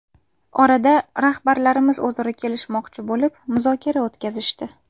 Orada rahbarlarimiz o‘zaro kelishmoqchi bo‘lib, muzokara o‘tkazishdi.